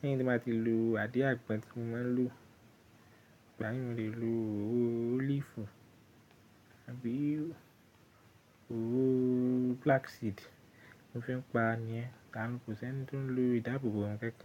lẹ́hìn tí n bá ti lo àdín àgbọn tí mo máa ń lò. Ìgbà mi mò lè lo òróró olive àbí òróró flaxseed mo fi ń pa ni ẹ, kà ní kò sí ẹni tó ń lo ìdáàbòbò ohun kankan.